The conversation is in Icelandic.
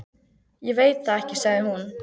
Ég veit það ekki sagði hún.